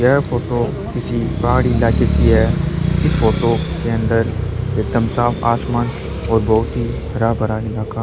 यह फोटो किसी पहाड़ी इलाके की है इस फोटो के अंदर एकदम साफ आसमान और बहुत ही हरा भरा इलाका--